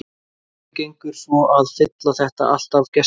En hvernig gengur svo að fylla þetta allt af gestum?